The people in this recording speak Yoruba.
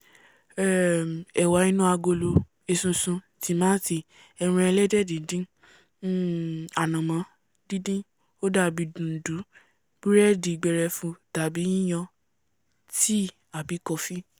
um ẹ̀wà inú agolo esusun tìmáàtì ẹran ẹlẹ́dẹ̀ díndín um ànànmán díndín ó dàbí dùndú búrẹ́dì gbẹrẹfu tàbí yíyan tíì àbí kọfí